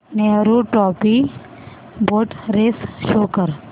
Nehru trophy boat race show कर